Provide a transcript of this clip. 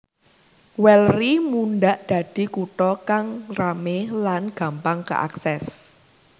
Weleri mundhak dadi kutha kang ramé lan gampang kaakses